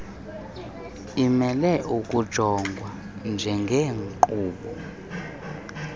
imele ukujongwa njengenkqubo